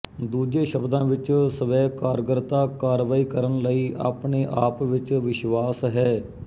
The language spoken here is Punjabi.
ਦੂਜੇ ਸ਼ਬਦਾਂ ਵਿੱਚ ਸਵੈਕਾਰਗਰਤਾ ਕਾਰਵਾਈ ਕਰਨ ਲਈ ਆਪਣੇ ਆਪ ਵਿੱਚ ਵਿਸ਼ਵਾਸ ਹੈ